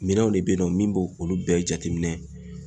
Minɛnw de be ye nɔ min b'o olu bɛɛ jateminɛ